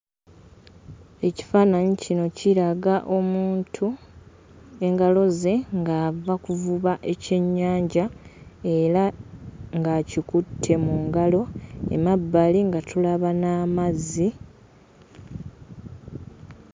Ekifaananyi kino kiraga omuntu engalo ze ng'ava kuvuba ekyennyanja era ng'akikutte mu ngalo mmabbali nga tulaba n'amazzi.